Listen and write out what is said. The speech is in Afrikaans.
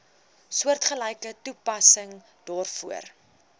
soortgelyke toepassing daarvoor